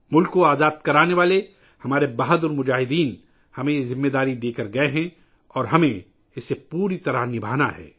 ملک کو آزاد کرانے کے لئے ہمارے بہادر جنگجوؤں نے ہمیں یہ ذمہ داری سونپی ہے اور ہمیں اسے پوری طرح نبھانا ہے